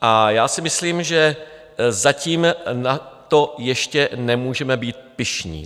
A já si myslím, že zatím na to ještě nemůžeme být pyšní.